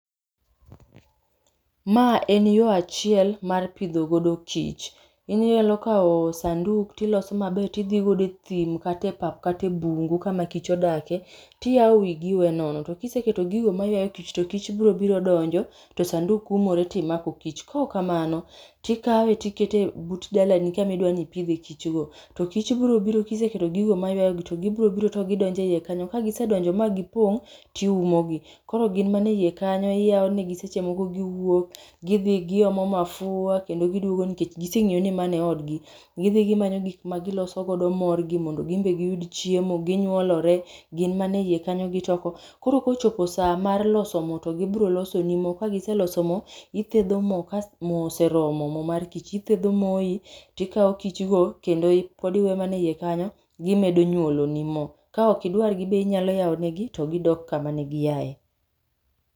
Ma en yo achiel mar pidho godo kich. Inyalo kawo sanduk ti iloso ma ber ti idji godo e thim kat e pap kata e bungu ka ma kich odakie ti iyao wi gi iwe nono. To ki iseketo gigi ma ywayo kich to kich go biro biro donjo to sanduk oumre ti imako kich, kok kamano ti ikawe ti ikete but dala ni ka ma idwa ni ipidh e kich go to kich go biro biro ka iseketo gigo ma yayo gi to gi biro biro to gidonjo e iye kanyo. Ka gi se donjo ma gi pong' ti iumo gi. Koro gin mana kanyo iyawo ne gi seche moko gi wuok gi omo mafwa kendo gi dwogo nikech gi se ngiyo ni mano en od gi gi dhi gi manyo gik ma gi loso godo mo gi mondo gin be gi yud chiemo gi nyuolore, gin mana e iye kanyo gi choko. Koro ka ochopo saa mar loso moo to gi biro loso ni moo ka gi seloso mo to gi thedho moo ka moo oseromo mo mar kich ti ithedho moyi ti ikawo kich kendo pod iwe mana e iye kanyo gi medo mana nyuolo ni moo. Ka ok idwar be inyalo yawo ne gi to gi dok kama ne gi yaye.